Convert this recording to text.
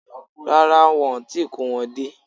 Rárá, wọn ò tíì kó wọn dé